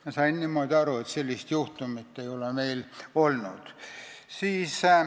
Ma sain aru niimoodi, et sellist juhtumit ei ole meil olnud.